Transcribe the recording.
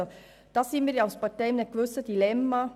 Hier stecken wir als Partei in einem gewissen Dilemma.